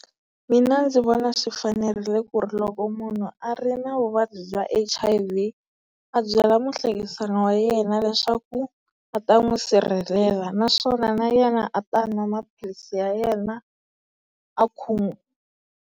Mina ndzi vona swi fanerile ku ri loko munhu a ri na vuvabyi bya H_I_V a byela muhlekisani wa yena leswaku a ta n'wi sirhelela naswona na yena a ta a nwa maphilisi ya yena a .